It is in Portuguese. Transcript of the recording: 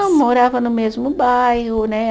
Morava no mesmo bairro, né?